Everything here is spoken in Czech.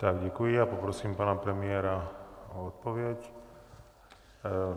Tak děkuji a poprosím pana premiéra o odpověď.